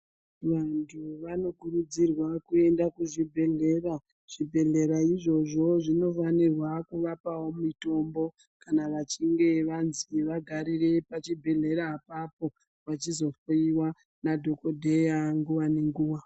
Vantu vanokurudzirwa kuenda kuzvibhedhlera. Zvibhedhlera izvozvo zvinofanirwa kuvapawo mitombo ,kana vachinge vanzi vagarire pachibhedhleya apapo, vachizohloiwa madhokodheya, nguwa nenguwa.